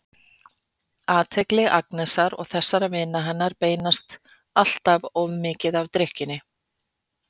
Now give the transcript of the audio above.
Athygli Agnesar og þessara vina hennar beinist alltof mikið að drykkjunni.